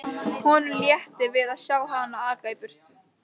Honum létti við að sjá hana aka í burtu.